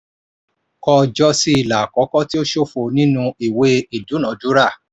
kọ ọjọ́ sí ilà àkọ́kọ́ tó ṣófo nínú ìwé ìdúnadúrà.